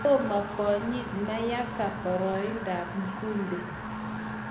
Toma konyit Mayanga paraindoap mkude